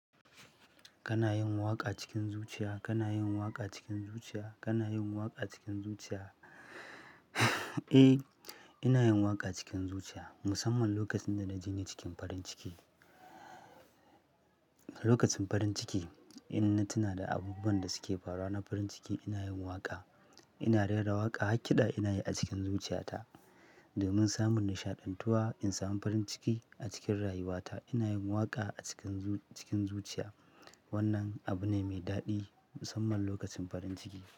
Kana yin waƙa cikin zuciya, kana yin waƙa cikin zuciya, kana yin waƙa cikin zuciya? Eh, ina yin waƙa cikin zuciya musamman lokacin da na jinye cikin farin ciki. Lokacin farin ciki, in na tuna da abubuwan da suke faruwa na farin ciki ina yin waƙa. Ina rera waƙa haƙiɗa ina yi a cikin zuciyata domin samun nishaɗantuwa in samu farin ciki a cikin rayuwata ina yin waƙa a cikin zu-- cikin zuciya. Wannan abu ne mai daɗi musamman lokacin farin ciki.